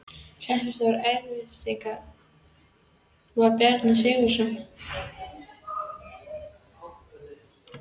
Hreppstjóri Eyrarsveitar var Bjarni Sigurðsson á Berserkseyri.